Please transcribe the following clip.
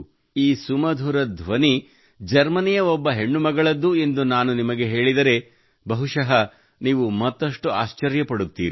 ಈ ಸುಮಧುರ ಧ್ವನಿ ಜರ್ಮನಿಯ ಒಬ್ಬ ಹೆಣ್ಣು ಮಗಳದ್ದು ಎಂದು ನಾನು ನಿಮಗೆ ಹೇಳಿದರೆ ಬಹುಶಃ ನೀವು ಮತ್ತಷ್ಟು ಆಶ್ಚರ್ಯಪಡುತ್ತೀರಿ